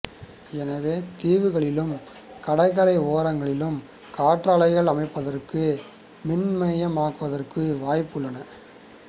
எனவே தீவுகளிலும் கடற்கரை ஓரங்களிலும் காற்றாலைகள் அமைப்பதற்கும் மின்மயமாக்குவதற்கும் வாய்ப்புகள் உள்ளன